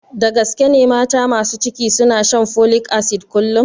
Da gaske ne mata masu ciki suna shan folik asid kullum?